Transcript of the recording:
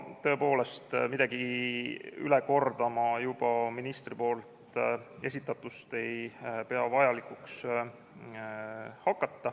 Tõepoolest, midagi ministri poolt juba esitatust üle kordama hakata ei pea ma vajalikuks.